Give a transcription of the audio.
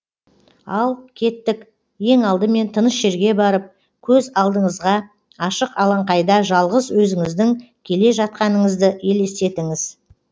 ал кеттік ең алдымен тыныш жерге барып көз алдыңызға ашық алаңқайда жалғыз өзіңіздің келе жатқаныңызды елестетіңіз